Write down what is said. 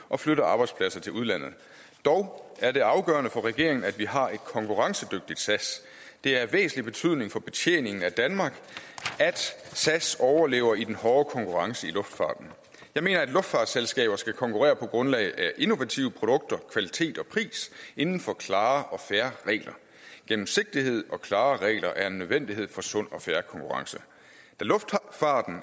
og flytter arbejdspladser til udlandet dog er det afgørende for regeringen at vi har et konkurrencedygtigt sas det er af væsentlig betydning for betjeningen af danmark at sas overlever i den hårde konkurrence i luftfarten jeg mener at luftfartsselskaber skal konkurrere på grundlag af innovative produkter kvalitet og pris inden for klare og fair regler gennemsigtighed og klare regler er en nødvendighed for sund og fair konkurrence